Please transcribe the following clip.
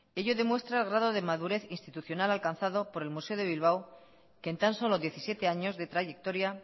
ello demuestra el grado de madurez institucional alcanzado por el museo de bilbao que en tan solo diecisiete años de trayectoria